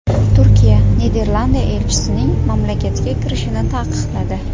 Turkiya Niderlandiya elchisining mamlakatga kirishini taqiqladi.